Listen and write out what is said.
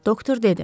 doktor dedi.